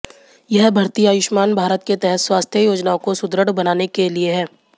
यह भर्ती आयुष्मान भारत के तहत स्वास्थ्य योजनाओं को सुदृढ़ बनाने के लिए है